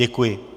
Děkuji.